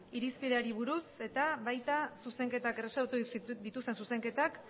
irizpideari buruz eta baita zuzenketak erreserbatu dituzten zuzenketak